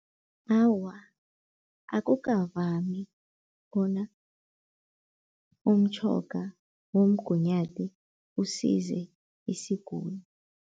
Awa, akukavami bona umtjhoga womgunyathi usize isiguli.